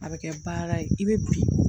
A bɛ kɛ baara ye i bɛ biri